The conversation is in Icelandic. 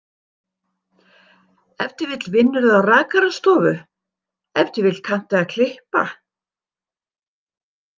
Ef til vill vinnurðu á rakarastofu, ef til vill kanntu að klippa.